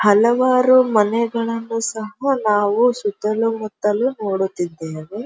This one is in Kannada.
ಹಲವಾರು ಮನೆಗಳನ್ನು ಸಹ ನಾವು ಸುತಲೂ ಮುತ್ತಲು ನೋಡುತ್ತಿದ್ದೇವೆ.